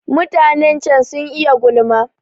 Mutanen can sun iya gulma.